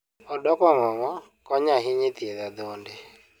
Odok ong'ong'o konyo ahinya e thiedho adhonde.